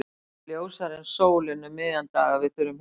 Það er ljósara en sólin um miðjan dag að við þurfum hjálp.